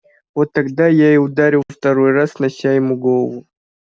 вот тогда я и ударил второй раз снося ему голову